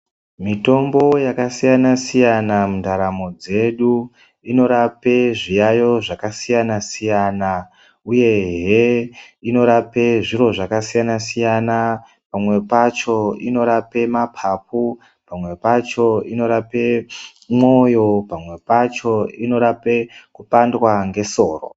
Mitombo yakasiyana siyana mundaramo dzedu inorape zviyayo zvakasiyana siyana uyehe inorape zviro zvakasiyana siyana, pamwe pacho inorape mapapu , pamwe pacho inorape mwoyo, pamwe pacho inorape kupandwa ngesoro.